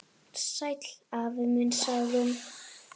Sæll afi minn sagði hún.